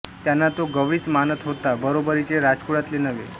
त्यांना तो गवळीच मानत होता बरोबरीचे राजकुळातले नव्हे